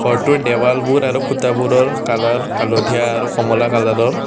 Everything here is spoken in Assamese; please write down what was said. ঘৰটোৰ দেৱালবোৰ আৰু খুঁটাবোৰৰ কালাৰ হালধীয়া আৰু কমলা কালাৰৰ।